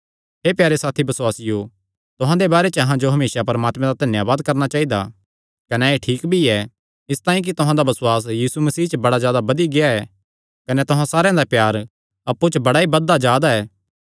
हे प्यारे साथी बसुआसियो तुहां दे बारे च अहां जो हमेसा परमात्मे दा धन्यावाद करणा चाइदा कने एह़ ठीक भी ऐ इसतांई कि तुहां दा बसुआस यीशु मसीह च बड़ा जादा बधी गेआ ऐ कने तुहां सारेयां दा प्यार अप्पु च बड़ा ई बधदा जा दा ऐ